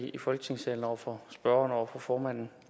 i folketingssalen over for spørgeren og over for formanden